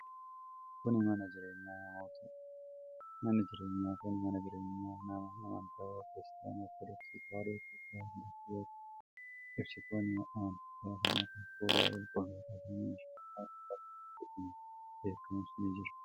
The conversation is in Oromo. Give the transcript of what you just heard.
Kun, mana jireenyaa namootaa dha. Manni jireenyaa kun mana jireenyaa nama amantii Kiristaana Ortodooksii Tawaahidoo Itoophiyaa hordofuu yoo ta'u, ibsitoonni amantichaa kan akka suuraa qulqullootaa fi meeshaan faaruu baganaa jedhamuun beekamus ni jira.